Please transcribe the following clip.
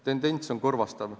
Tendents on kurvastav.